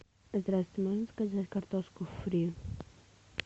здравствуйте можно заказать картошку фри